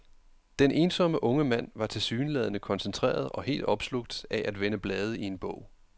Den ensomme unge mand var tilsyneladende koncentreret og helt opslugt af at vende blade i en bog.